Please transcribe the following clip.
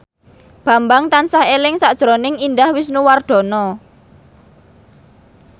Bambang tansah eling sakjroning Indah Wisnuwardana